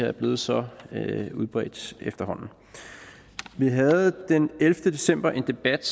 er blevet så udbredt vi havde den ellevte december en debat